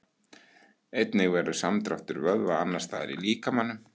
Einnig verður samdráttur vöðva annars staðar í líkamanum.